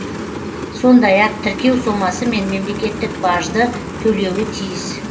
сондай ақ тіркеу сомасы мен мемлекеттік бажды төлеуі тиіс